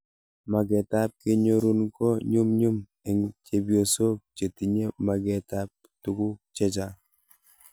Maget ab kenyorun ko nyumnyum, eng'chepyosok che tinye maget ab tuguk chechang'